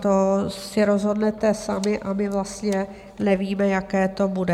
To si rozhodnete sami a my vlastně nevíme, jaké to bude.